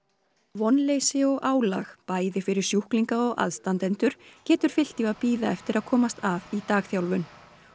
vonleysi og álag bæði fyrir sjúklinga og aðstandendur getur fylgt því að bíða eftir að komast að í dagþjálfun